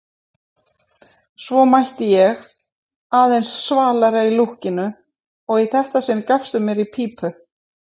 Svo mætti ég, aðeins svalari í lúkkinu, og í þetta sinn gafstu mér í pípu.